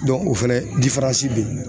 o fɛnɛ be yen